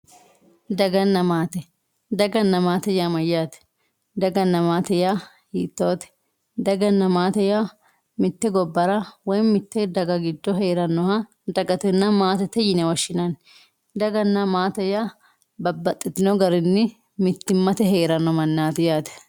Daganna maate, daganna maate yaa mayyate ,daganna maate yaa hiittote, daganna maate yaa mite gobbara woyi mitte daga giddo heeranoha dagatenna maatete yine woshshinanni, dagana maate yaa babbaxxitino garinni mittimmateni heerano yaate.